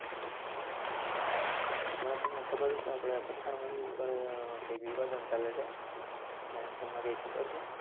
હમણાં તમને ખબર હોય તો આપણે પઠાણ movie ઉપર કૈક વિવાદન ચાલે છે. કૈંક તમને કૈંક ખબર છે